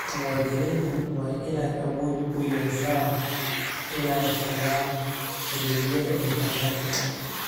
Muwaadiniintu waa inay awood u yeeshaan inay helaan adeegyada internetka.